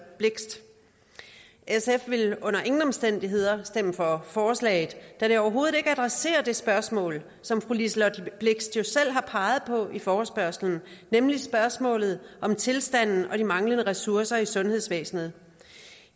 blixt sf vil under ingen omstændigheder stemme for forslaget da det overhovedet ikke adresserer det spørgsmål som fru liselott blixt jo selv har peget på i forespørgslen nemlig spørgsmålet om tilstanden og de manglende ressourcer i sundhedsvæsenet